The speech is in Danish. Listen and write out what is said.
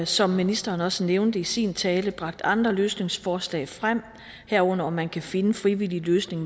som ministeren også nævnte i sin tale bragt andre løsningsforslag frem herunder om man kan finde en frivillig løsning